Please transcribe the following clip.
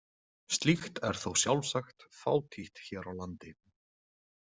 Slíkt er þó sjálfsagt fátítt hér á landi.